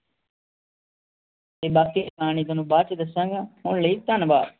ਬਾਕੀ ਕਹਾਣੀ ਤੁਹਾਨੂੰ ਬਾਦ ਚ ਦੱਸਾਂਗਾ ਹੁਣ ਲੈ ਧੰਨਵਾਦ